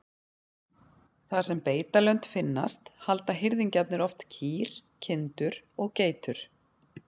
Þar sem beitarlönd finnast halda hirðingjarnir oft kýr, kindur og geitur.